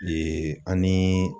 an ni